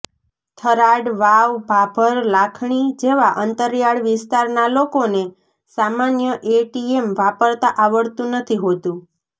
થરાદ વાવ ભાભર લાખણી જેવા અંતરિયાળ વિસ્તારનાં લોકોને સામાન્ય એટીએમ વાપરતા આવડતું નથી હોતું